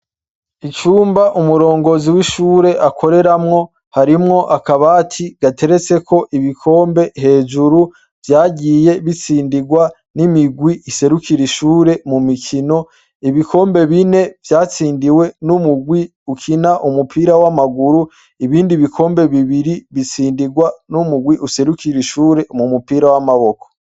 Icumba umurongozi w'ishure akoreramwo harimwo akabati gateretse ko ibikombe hejuru vyagiye bitsindirwa n'imigwi iserukire ishure mu mikino ibikombe bine vyatsindiwe n'umugwi ukina umupira w'amaguru ibindi bikombe bibiri gitsindirwa n'umugwi userukiye bishure mu mupira w'amaboko.